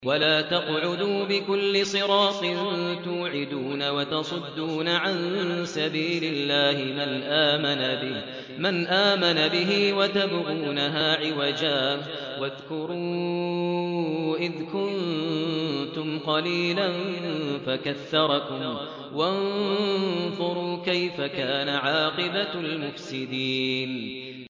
وَلَا تَقْعُدُوا بِكُلِّ صِرَاطٍ تُوعِدُونَ وَتَصُدُّونَ عَن سَبِيلِ اللَّهِ مَنْ آمَنَ بِهِ وَتَبْغُونَهَا عِوَجًا ۚ وَاذْكُرُوا إِذْ كُنتُمْ قَلِيلًا فَكَثَّرَكُمْ ۖ وَانظُرُوا كَيْفَ كَانَ عَاقِبَةُ الْمُفْسِدِينَ